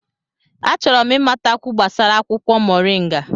Achọrọ m ịmatakwu gbasara akwụkwọ moringa.